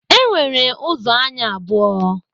E nwere ụzọ anya abụọ